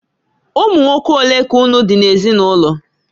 Ụmụnwoke olee ka unu di n'ezinụlọ?